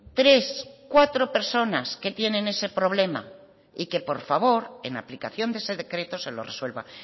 tres cuatro personas que tienen ese problema y que por favor en aplicación de ese decreto se lo resuelva